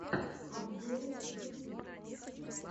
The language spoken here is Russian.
обзоры ютуб